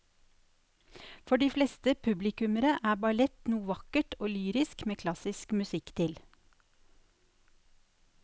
For de fleste publikummere er ballett noe vakkert og lyrisk med klassisk musikk til.